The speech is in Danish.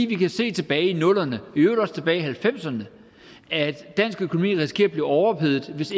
kan se tilbage i nullerne og i øvrigt også tilbage halvfemserne at dansk økonomi risikerer at blive overophedet hvis